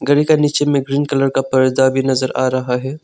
घड़ी का नीचे में ग्रीन कलर का पर्दा भी नजर आ रहा है।